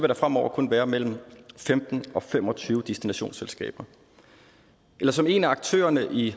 der fremover kun være mellem femten og fem og tyve destinationsselskaber eller som en af aktørerne i